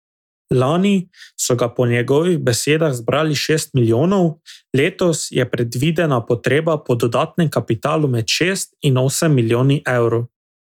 Lani so ga po njegovih besedah zbrali šest milijonov, letos je predvidena potreba po dodatnem kapitalu med šest in osem milijoni evrov.